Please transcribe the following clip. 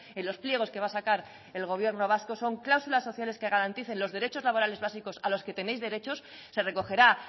en los pliegos que va a sacar el gobierno vasco son cláusulas sociales que garanticen los derechos laborales básicos a los que tenéis derechos se recogerá